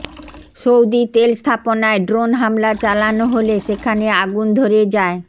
Saudi তেল স্থাপনায় drone হামলা চালানো হলে সেখানে আগুন ধরে যায়